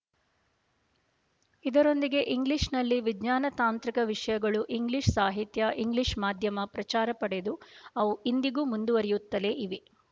ಇದರೊಂದಿಗೆ ಇಂಗ್ಲಿಶ‍ನಲ್ಲಿ ವಿಜ್ಞಾನತಾಂತ್ರಿಕ ವಿಷಯಗಳು ಇಂಗ್ಲೀಷ್ ಸಾಹಿತ್ಯ ಇಂಗ್ಲೀಷ್ ಮಾಧ್ಯಮ ಪ್ರಚಾರ ಪಡೆದು ಅವು ಇಂದಿಗೂ ಮುಂದುವರಿಯುತ್ತಲೇ ಇವೆ